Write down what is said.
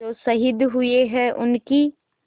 जो शहीद हुए हैं उनकी